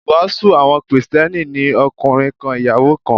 Ìwàásù àwọn Kristẹni ni ọkùnrin kan, ìyàwó kan.